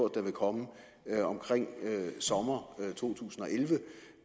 den vil komme omkring sommeren to tusind og elleve